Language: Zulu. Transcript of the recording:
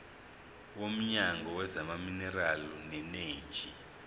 womnyango wezamaminerali neeneji